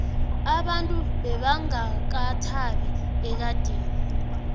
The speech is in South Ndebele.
abantu bebangakathabi ekadeni